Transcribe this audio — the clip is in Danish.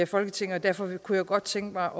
folketinget og derfor kunne jeg godt tænke